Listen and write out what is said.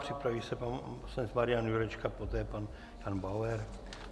Připraví se pan poslanec Marian Jurečka, poté pan Jan Bauer.